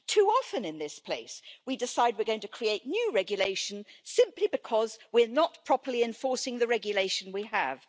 Too often in this place we decide we're going to create new regulation simply because we are not properly enforcing the regulation we have.